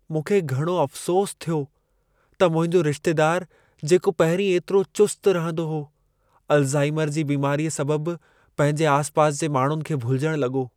मूंखे घणो अफ़सोसु थियो त मुंहिंजो रिश्तेदारु जेको पहिरीं एतिरो चुस्त रहंदो हो, अल्ज़ाइमर जी बीमारीअ सबबु पंहिंजे आसिपासि जे माण्हुनि खे भुलिजण लॻो।